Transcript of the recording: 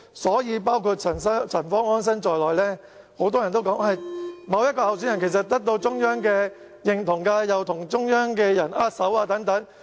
所以，很多人，包括陳方安生都說，某一候選人已得到中央認同，因為他曾與中央領導人握手。